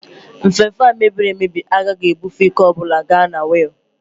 Nfefe a mebiri emebi agaghị ebufe ike ọ bụla ga na wiil